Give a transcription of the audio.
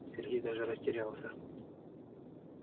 сергей даже растерялся